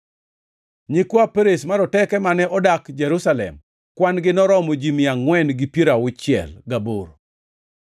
Nyikwa Perez maroteke mane odak Jerusalem noromo kwan-gi noromo ji mia angʼwen gi piero auchiel gaboro (468).